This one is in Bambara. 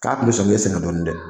K'a tun bɛ sɔn k'i sɛgɛn dɔɔnin dɛ